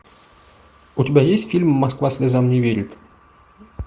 у тебя есть фильм москва слезам не верит